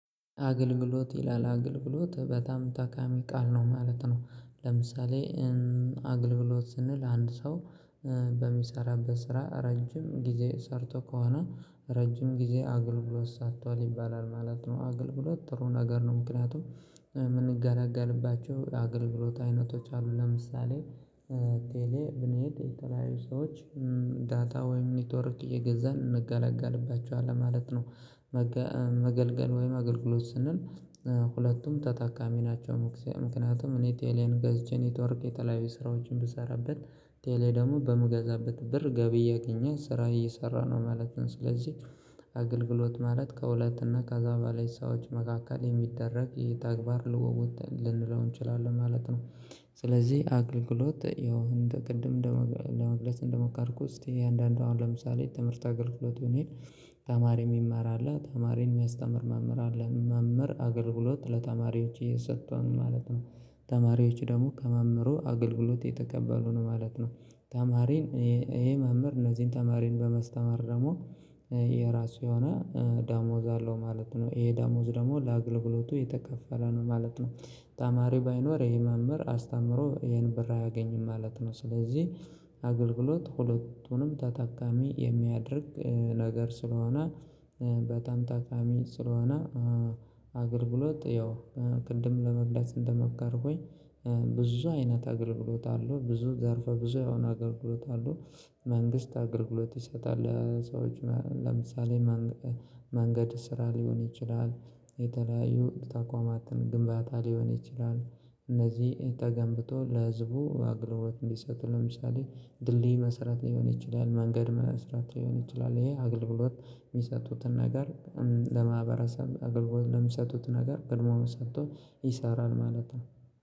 አገልግሎት ይላል አገልግሎት በጣም ታካሚ ቃል ነው ማለት ነው። ለምሳሌ አገልግሎት ስንል አንድ ሰው በሚሰራበት ስራ ረጅም ጊዜ ሰርቶ ከሆነ። ረጅም ጊዜ አገልግሎት ሰርቷል ይባላል ማለት ነው አገልግሎት ጥሩ ነገር ነው። ምክንያቱም የምንገላገልባቸው አገልግሎት አይነቶች አሉ ለምሳሌ ቴሌ ብንሄድ የተለያዩ ሰዎች ዳታ ወይም ኔትወርክ እየገዛን እንገለገልባቸዋለን ማለት ነው። መገልገል ወይም አገልግሎት ስንል ሁለቱም ተጠቃሚ ናቸው። ምክንያቱም እኔ ቴሌን ገዝቼ ኔትወርክ የተለያዩ ስራዎችን ብሰራበት ቴሌ ደግሞ በምገዛበት ብር ገቢ እያገኘ ስራ እየሰራ ነው ማለት ነው። ስለዚህ አገልግሎት ማለት ከሁለትና ከአዛባ ላይ ሰዎች መካከል የሚደረግ የተግባር ልወወጥ ልንለው እንችላለን ማለት ነው። ስለዚህ አገልግሎት ያው እንደ ቅድም ለመግለጽ እንደሞከርኩት እስቲ አያንዳንዱ አሁን ለምሳሌ ትምህርት አገልግሎት ብንሄድ ተማሪ የሚማር አለ ተማሪን የሚያስተምር መምህር አለ መምህር አገልግሎት ለተማሪዎች እየሰጠ ነው ማለት ነው። ተማሪዎች ደግሞ ከመመሩ አገልግሎት እተቀበሉ ነው ማለት ነው። ተማሪን ይሄ መምህር እነዚህን ተማሪን በመስተማር ደግሞ የራሱ የሆነ ደሞዝ አለው ማለት ነው። ይሄ ደሞዝ ደግሞ ለአገልግሎቱ የተከፈለ ነው ማለት ነው። ተማሪ ባይኖር ይሄ መምህር አስተምሮ ይሄን ብር አያገኝም ማለት ነው። ስለዚህ አገልግሎት ሁለቱንም ተጠቃሚ የሚያደርግ ነገር ስለሆነ በጣም ጠቃሚ ስለሆነ። አገልግሎት ያው ቅድም ለመግለጽ እንደሞከርኩኝ ብዙ አይነት አገልግሎት አሉ ብዙ ዘርፈ ብዙ የሆነ አገልግሎት አሉ። መንግስት አገልግሎት ይሰጣል ሰዎች ለምሳሌ መንገድ ስራ ሊሆን ይችላል። የተለያዩ ተቋማትን ግንባታ ሊሆን ይችላል እነዚህ ተገንብቶ ለህዝቡ አገልግሎት እንዲሰጥ ለምሳሌ ድልድይ መስረት ሊሆን ይችላል። መንገድ መስራት ሊሆን ይችላል። ይሄ አገልግሎት ሚሰጡትን ነገር ለማህበረሰብ አገልግሎት ለሚሰጡት ነገር ቅድሚያውን ሰጥቶ ይሰራል ማለት ነው